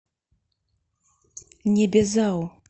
небезао